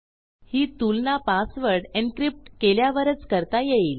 ही तुलना password encrypt केल्यावरच करता येईल